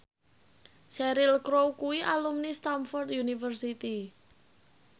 Cheryl Crow kuwi alumni Stamford University